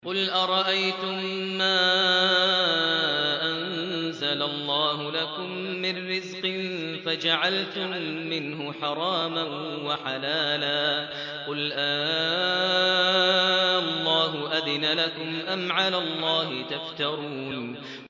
قُلْ أَرَأَيْتُم مَّا أَنزَلَ اللَّهُ لَكُم مِّن رِّزْقٍ فَجَعَلْتُم مِّنْهُ حَرَامًا وَحَلَالًا قُلْ آللَّهُ أَذِنَ لَكُمْ ۖ أَمْ عَلَى اللَّهِ تَفْتَرُونَ